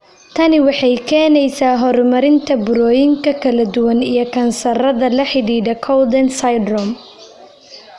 Tani waxay keenaysaa horumarinta burooyinka kala duwan iyo kansarrada la xidhiidha Cowden syndrome.